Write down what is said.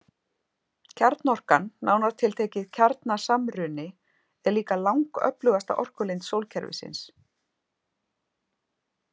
Kjarnorkan, nánar tiltekið kjarnasamruni, er líka langöflugasta orkulind sólkerfisins.